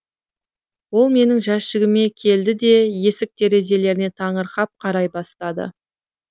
ол менің жәшігіме келді де есік терезелеріне таңырқап қарай бастады